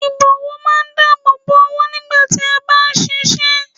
Ìbọ̀wọ́ máa ń dáàbò bo ọwọ́ nígbà tí a bá ń ṣiṣẹ́